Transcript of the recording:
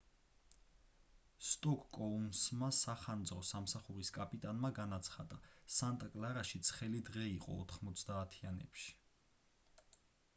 სკოტ კოუნსმა სახანძრო სამსახურის კაპიტანმა განაცხადა სანტა კლარაში ცხელი დღე იყო 90-ანებში